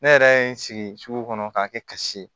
Ne yɛrɛ ye n sigi sugu kɔnɔ k'a kɛ kasi ye